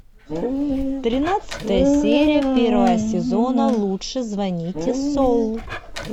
тринадцатая серия первого сезона лучше звоните солу